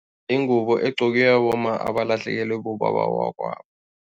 Ingubo egqokiwa bomma abalehlekelwe bobaba bakwabo.